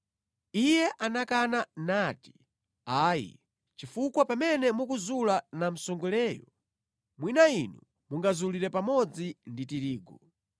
“Iye anakana nati, ‘Ayi. Chifukwa pamene mukuzula namsongoleyo mwina inu mungazulire pamodzi ndi tirigu.